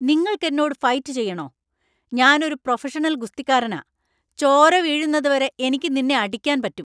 നിങ്ങൾക്ക് എന്നോട് ഫൈറ്റ് ചെയ്യണോ? ഞാൻ ഒരു പ്രൊഫഷണൽ ഗുസ്തിക്കാരനാ! ചോര വീഴുന്നതുവരെ എനിക്ക് നിന്നെ അടിക്കാൻ പറ്റും .